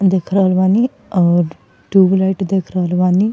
देख रहल बानी और टू व्हीलर के देख रहल बानी।